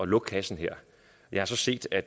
lukke kassen her jeg har så set at